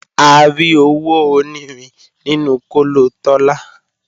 A rí owó onírin nínú kóló Tọ́lá